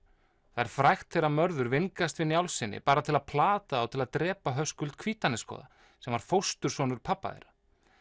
það er frægt þegar Mörður vingast við Njálssyni bara til að plata þá til að drepa Höskuld Hvítanesgoða sem var fóstursonur pabba þeirra